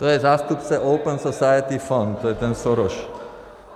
To je zástupce Open Society Fund, to je ten Soros.